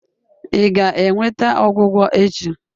Ị ga-enweta ọgwụgwọ echi?